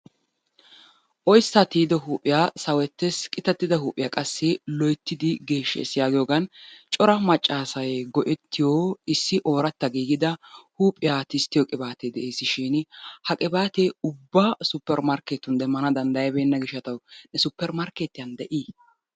Oyissaa tiyido huuphiya sawettes. Qitattida huuphiya qassi loyittidi geeshsshes. Cora maccaasay go'ettiyo issi ooratta giigida huuphiya qibaatee de'eesishin ha qibaatee ubba supper markketetun demmana danddayabeenna gishshatawu ne supper markkeetiya de'i?